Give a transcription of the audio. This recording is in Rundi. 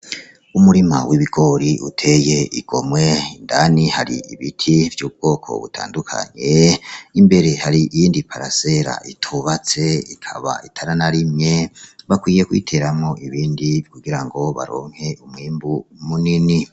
Umurima w'ibigori uteye igomwe indani hari ibiti vy'ubwoko butandukanye imbere hari iyindi parasera itubatse ikaba itaranarimye bakwiye kuyiteramwo ibindi kugirango baronke umwimbu munini.